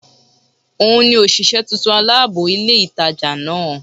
Ò n ni òsìsé titun alábò ilé ìtajà náà